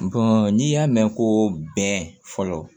n'i y'a mɛn ko bɛn fɔlɔ